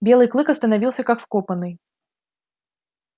белый клык остановился как вкопанный